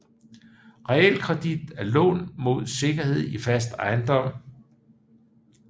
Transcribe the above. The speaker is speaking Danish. Realkredit er lån mod sikkerhed i fast ejendom